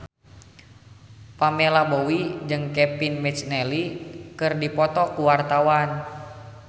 Pamela Bowie jeung Kevin McNally keur dipoto ku wartawan